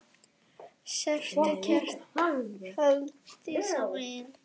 Sértu kært kvödd, Dísa mín.